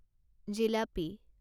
jalebi